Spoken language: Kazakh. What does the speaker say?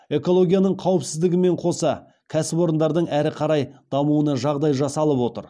экологияның қауіпсіздігімен қоса кәсіпорындардың әрі қарай дамуына жағдай жасалып отыр